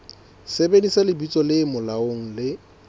sebedisa lebitso le molaong le